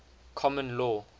common law